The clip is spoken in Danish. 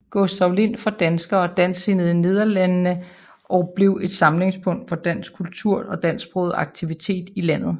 Gustav Lind for danskere og dansksindede i Nederlandene og blev et samlingspunkt for dansk kultur og dansksprogede aktiviteter i landet